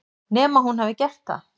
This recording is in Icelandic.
Nema hún hafi gert það.